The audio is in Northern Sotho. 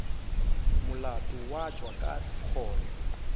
molato wa tšwa ka kgoro